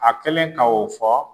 A kɛlen k' o fɔ.